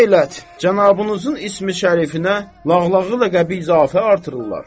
Nə eləyib cənabınızın ismi-şərifinə lağlağı ləqəbi izafə artırırlar.